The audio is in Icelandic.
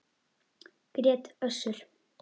grét Össur.